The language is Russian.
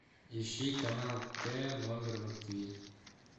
ищи канал т номер на тиви